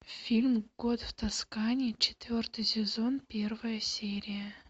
фильм год в тоскане четвертый сезон первая серия